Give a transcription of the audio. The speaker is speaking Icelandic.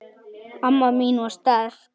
Amma mín var sterk.